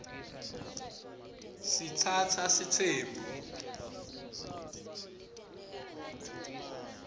sitsatsa sitsembu